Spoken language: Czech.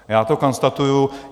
Já to konstatuji.